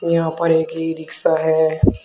यहां पर एक इ रिक्शा है।